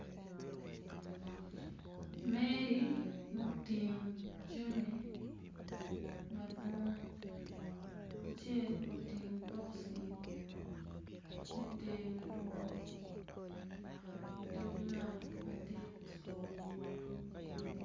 Meli ma otingo jami madwong acel otingo boxi me ter madong idog nam madit